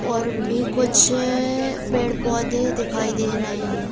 और भी कुछ पेड़ पौधे दिखाई दे रहे हैं।